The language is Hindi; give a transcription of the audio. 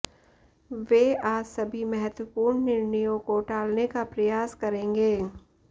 वे आज सभी महत्वपूर्ण निर्णयों को टालने का प्रयास करेंगे